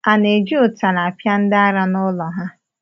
A na-eji ụtara akpị ndị ara n’ụlọ ha?